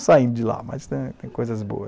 Saindo de lá, mas tem coisas boas